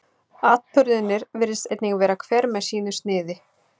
atburðirnir virðist einnig vera hver með sínu sniði